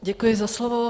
Děkuji za slovo.